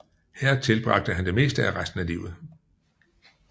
Her tilbragte han det meste af resten af livet